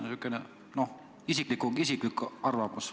Mis on sinu isiklik arvamus.